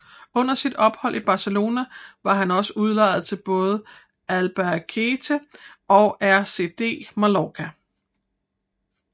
Under sit ophold i Barcelona var han også udlejet til både Albacete og RCD Mallorca